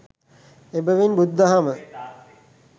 එබැවින් බුදුදහම